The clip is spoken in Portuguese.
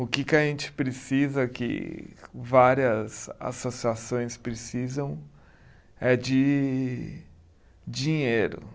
O que que a gente precisa, que várias associações precisam, é de dinheiro.